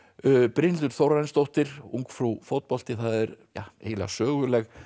Brynhildur Þórarinsdóttir ungfrú fótbolti það er eiginlega söguleg